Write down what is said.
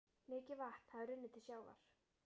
Mikið vatn hafði runnið til sjávar.